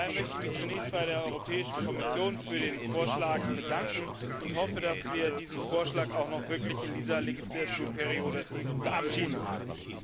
Daher möchte ich mich zunächst bei der Europäischen Kommission für den Vorschlag bedanken und hoffe, dass wir diesen Vorschlag auch noch wirklich in dieser Wahlperiode verabschieden können.